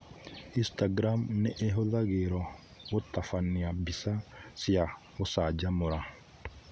Instagram nĩ ĩhũthagĩrũo gũtabania mbica cia gũcanjamũra.